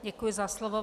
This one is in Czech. Děkuji za slovo.